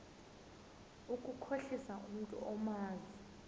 ukukhohlisa umntu omazi